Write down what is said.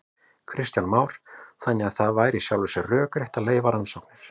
Kristján Már: Þannig að það væri í sjálfu sér rökrétt að leyfa rannsóknir?